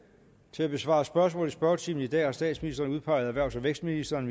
til at besvare spørgsmål i spørgetimen i dag har statsministeren udpeget erhvervs og vækstministeren